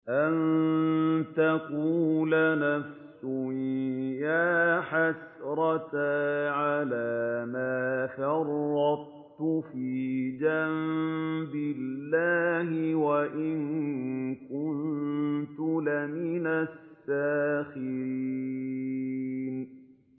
أَن تَقُولَ نَفْسٌ يَا حَسْرَتَا عَلَىٰ مَا فَرَّطتُ فِي جَنبِ اللَّهِ وَإِن كُنتُ لَمِنَ السَّاخِرِينَ